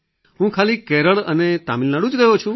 હું ખાલી કેરળ અને તમિલનાડુ જ ગયો છું